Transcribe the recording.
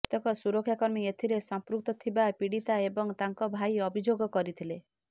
କେତେକ ସୁରକ୍ଷା କର୍ମୀ ଏଥିରେ ସଂପୃକ୍ତ ଥିବା ପୀଡିତା ଏବଂ ତାଙ୍କ ଭାଇ ଅଭିଯୋଗ କରିଥିଲେ